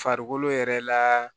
Farikolo yɛrɛ la